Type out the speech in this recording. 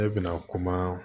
Ne bɛna kuma